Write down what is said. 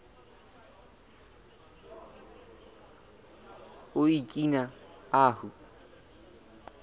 o okina ahu